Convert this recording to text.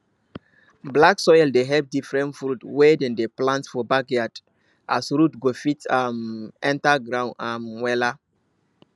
black soil dey help diffrerent fruits wey dem dey plant for backyard as root go fit um enter ground um wella